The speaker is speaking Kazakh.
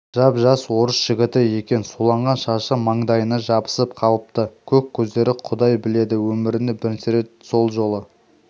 жап-жас орыс жігіті екен суланған шашы маңдайына жабысып қалыпты көк көздері құдай біледі өмірінде бірінші рет сол жолы